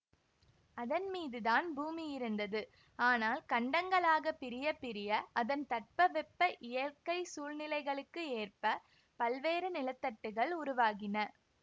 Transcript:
அதன் மீது தான் பூமி இருந்தது ஆனால் கண்டங்களாகப் பிரிய பிரிய அதன் தட்பவெப்ப இயற்கை சூழ்நிலைகளுக்கு ஏற்ப பல்வேறு நிலத்தட்டுக்கள் உருவாகின